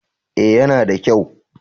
Eh ya na da kyau